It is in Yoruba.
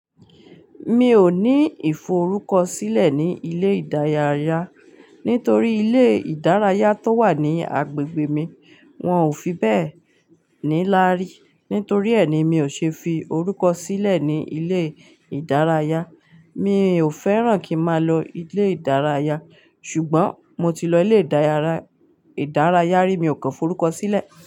Mi ò ní ìforúkọ sílẹ̀ ní ilé ìdárayá, nítorí ilé ìdárayá tó wà ní agbègbè mi wọn ò fi bẹ́ẹ̀ níláárí. Nítorí ẹni mi ò ṣe fi orúkọ sílẹ̀ ní ilé ìdárayá. Mi ò fẹ́ràn kí máa lọ ilé ìdárayá, ṣùgbọ́n mo ti lọ ilé ìdárayá rí, mi ò kàn forúkọ sílẹ̀